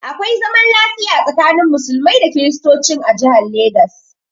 Akwai zaman lafiya tsakanin Musulmai da Kristocin a jihan Legas